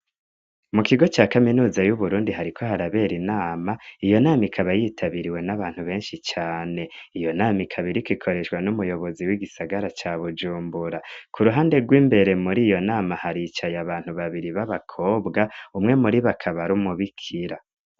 Mu kigo ca kaminuza y'Uburundi hariko harabera inama, iyo nama ikaba yitabiriwe n'abantu benshi cane. Iyo nama ikabiriko ikoreshwa n'umuyobozi w'igisagara ca Bujumbura. Ku ruhande rw'imbere muri iyo nama haricaye abantu babiri b'abakobwa, umwe muribo akabar'umubikira.